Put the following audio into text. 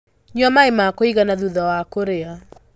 Nyua maĩma kũigana thutha wa kũrĩa.